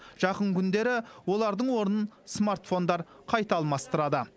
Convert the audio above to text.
жақын күндері олардың орнын смартфондар қайта алмастырады